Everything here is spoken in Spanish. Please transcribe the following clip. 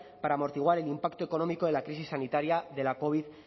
para amortiguar el impacto económico de la crisis sanitaria de la covid